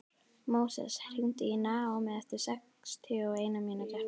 Móses, hringdu í Naómí eftir sextíu og eina mínútur.